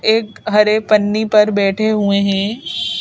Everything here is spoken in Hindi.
एक हरे पन्नी पर बैठे हुए हैं .]